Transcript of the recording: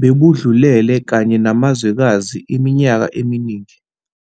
bebudlulele kanye namazwekazi iminyaka eminingi.